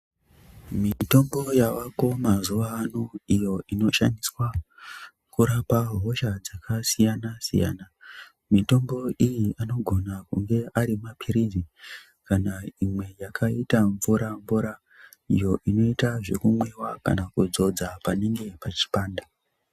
Mitombo yavako mazuwa ano iyo inoshandiswa kurapa hosha dzakasiyana siyana mitombo iyi anogona kunge ari mapirizi kana imwe yakaita mvura mvura iyo inoita zvekumwiwa kana kudzodza panenge pachipanda.